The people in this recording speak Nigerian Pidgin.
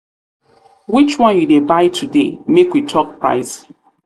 which one you dey buy today make we talk price.